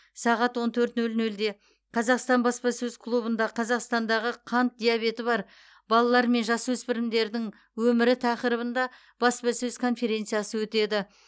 сағат он төрт нөл нөлде қазақстан баспасөз клубында қазақстандағы қант диабеті бар балалар мен жасөспірімдердің өмірі тақырыбында баспасөз конференциясы өтеді